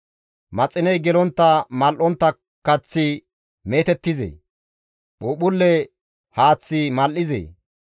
Maxiney gelontta mal7ontta kaththi meetettizee? Phuuphphulle haaththi mal7izee?